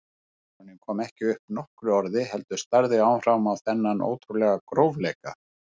Baróninn kom ekki upp nokkru orði heldur starði áfram á þennan ótrúlega grófleika.